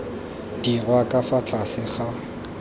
dirwa ka fa tlase ga